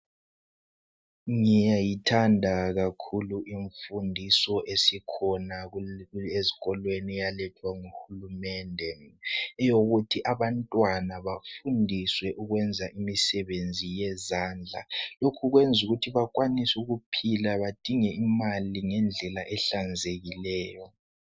Ngiyayithanda kakhulu imfundiso esikhona ezikolweni eyalethwa nguhulumende yokuthi abantwana bafundiswe ukwenza imisebenzi yezandla lokhu kwenza bakwanise ukuphila badinge imali ngendlela ehlanyekileyo